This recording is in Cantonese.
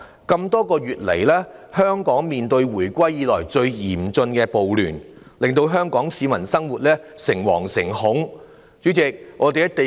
這麼多個月來，香港面對自回歸以來最嚴峻的暴亂，令香港市民生活在誠惶誠恐之中。